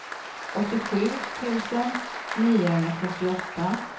åttiosju tusen niohundrafyrtioåtta